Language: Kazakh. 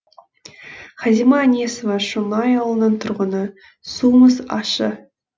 хазима әнесова шоңай ауылының тұрғыны суымыз ащы